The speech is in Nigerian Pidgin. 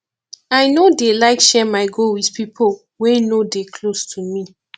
i no dey like share my goal wit pipo wey no dey close to me